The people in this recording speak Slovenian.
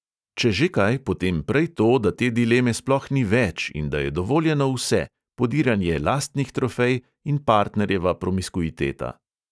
Če že kaj, potem prej to, da te dileme sploh ni več in da je dovoljeno vse, podiranje lastnih trofej in partnerjeva promiskuiteta.